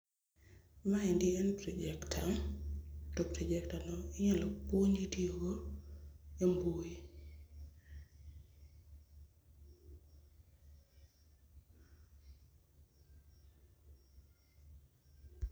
Maendi en projector to projector no inyal puonji tiyogo e mbui